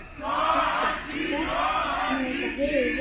Kristján: Hvernig, þetta hefur verið hrikaleg upplifun?